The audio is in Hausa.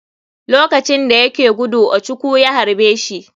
Lokacin dayake gudu ochukwu ya haɓe shi.